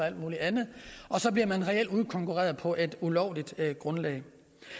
alt muligt andet så bliver man reelt udkonkurreret på et ulovligt grundlag